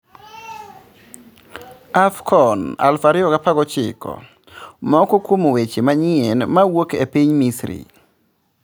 AFCON 2019:Moko kwom weche manyien mawuok piny Misri